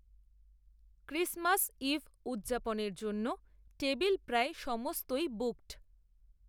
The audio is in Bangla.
ক্রিসমাস, ইভ, উদযাপনের জন্য, টেবিল প্রায় সমস্তই বুকড